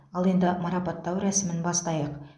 ал енді марапаттау рәсімін бастайық